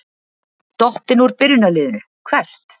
Dottinn úr byrjunarliðinu Hvert?